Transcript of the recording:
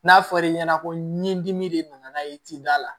N'a fɔra e ɲɛna ko ni dimi de nana n'a ye i t'i da la